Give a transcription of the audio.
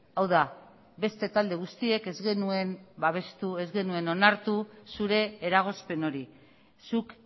hau da beste talde guztiek ez genuen babestu ez genuen onartu zure eragozpen hori zuk